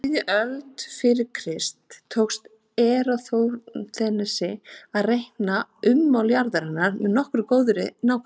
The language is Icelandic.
Á þriðju öld fyrir Krist tókst Eratosþenesi að reikna ummál jarðarinnar með nokkuð góðri nákvæmni.